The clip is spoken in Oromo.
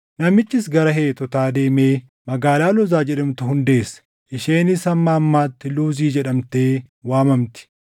Namichis gara Heetotaa deemee magaalaa Loozaa jedhamtu hundeesse; isheenis hamma ammaatti Luuzi jedhamtee waamamti.